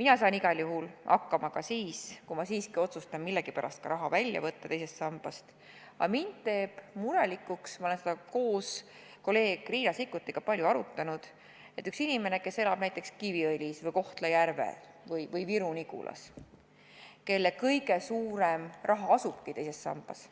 Ma saan igal juhul hakkama ka siis, kui ma siiski otsustan millegipärast raha teisest sambast välja võtta, aga mind teeb murelikuks – ma olen seda koos kolleeg Riina Sikkutiga palju arutanud – inimene, kes elab näiteks Kiviõlis, Kohtla-Järvel või Viru-Nigulas, kelle kõige suurem raha asubki teises sambas,